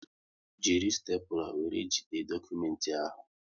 Jiri stepula wéré jide dokumenti ahụ!